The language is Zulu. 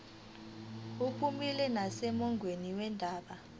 uphumile nasemongweni wendaba